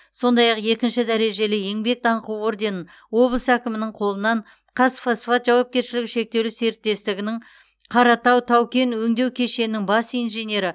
сондай ақ екінші дәрежелі еңбек даңқы орденін облыс әкімінің қолынан қазфосфат жауапкершілігі шектеулі серіктестігінің қаратау тау кен өңдеу кешенінің бас инженері